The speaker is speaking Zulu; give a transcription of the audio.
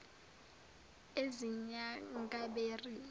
ezinyangabheri